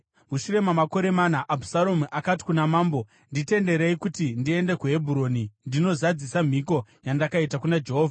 Mushure mamakore mana, Abhusaromu akati kuna mambo, “Nditenderei kuti ndiende kuHebhuroni ndinozadzisa mhiko yandakaita kuna Jehovha.